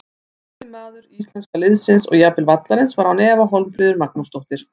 Besti maður íslenska liðsins og jafnvel vallarins var án efa Hólmfríður Magnúsdóttir.